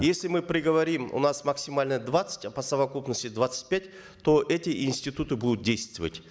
если мы приговорим у нас максимальное двадцать а по совокупности двадцать пять то эти институты будут действовать